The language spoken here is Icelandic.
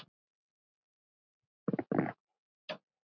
Fólkið lærði vísur þeirra.